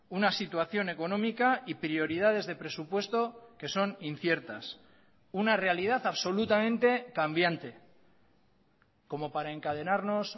una situación económica y prioridades de presupuesto que son inciertas una realidad absolutamente cambiante como para encadenarnos